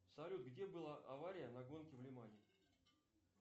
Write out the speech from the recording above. салют где была авария на гонке в лимане